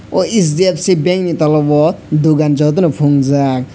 oh hdfc bank ni tola o dogan jotono phunukjak.